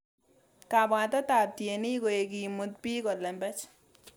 Kabwatetab ab tienik koek imut bik kolembech